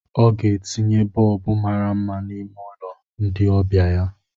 ọ ga-etinye bọlbụ mara mma n'ime ụlọ ndị ọbịa ya